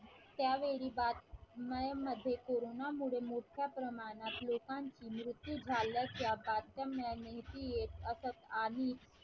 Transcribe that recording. त्यावेळी बातम्यांमध्ये कोरोनामुळे मोठ्या प्रमाणात लोकांची मृत्यू झाल्याच्या बातम्या नेहमी येत असत आणि